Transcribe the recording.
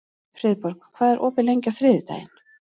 Friðborg, hvað er opið lengi á þriðjudaginn?